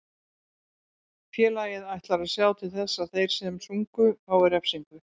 Félagið ætlar að sjá til þess að þeir sem sungu fái refsingu.